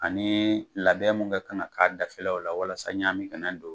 Ani labɛn mun ka kan ka k'a dafɛlaw la walasa ɲami kana don